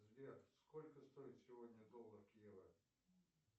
сбер сколько стоит сегодня доллар к евро